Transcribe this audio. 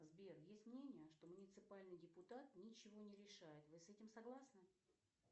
сбер есть мнение что муниципальный депутат ничего не решает вы с этим согласны